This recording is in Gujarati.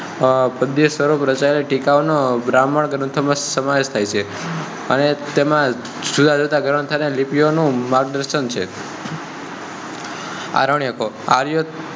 અરણ્યકો - આર્યો પધ સ્વરૂપે રચાયેલ ટીકા ઓ નો બ્રમહણ ગ્રંથો માં સમાવેશ થાય છે. અને તેમજ જુદા - જુદા ગ્રંથ અને લિપિ નું માર્ગદર્શન છે.